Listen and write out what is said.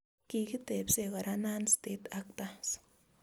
Kikitebsee kora non-state actors